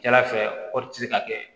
Jalafɛ kɔɔri tɛ se ka kɛ